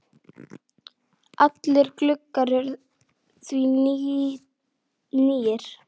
Allir gluggar eru því nýir.